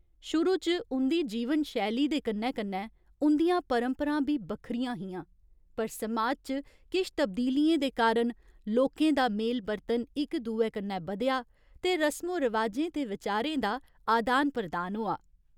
शुरू च उं'दी जीवन शैली दे कन्नै कन्नै उं'दियां परंपरां बी बक्खरियां हियां, पर समाज च किश तब्दीलियें दे कारण लोकें दा मेल बरतन इक दुए कन्नै बधेआ ते रसमो रवाजें ते विचारें दा अदान प्रदान होआ।